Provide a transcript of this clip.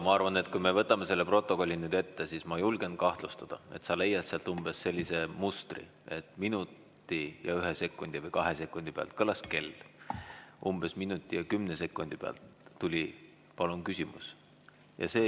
Ma arvan, et kui me võtame selle protokolli ette, siis ma julgen kahtlustada, et sa leiad sealt umbes sellise mustri, et minuti ja ühe või kahe sekundi pealt kõlas kell, umbes minuti ja kümne sekundi pealt tuli: "Palun küsimus!